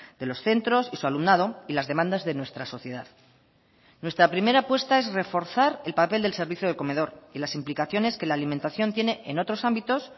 de los centros y su alumnado y las demandas de nuestra sociedad nuestra primera apuesta es reforzar el papel del servicio de comedor y las implicaciones que la alimentación tiene en otros ámbitos